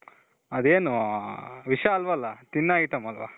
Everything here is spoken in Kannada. ಅದೇನು ವಿಷ ಅಲ್ವಲ ತಿನ್ನ ಐಟಂ ಅಲ್ವ